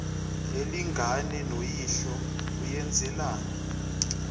alingane noyihlo uyenzelani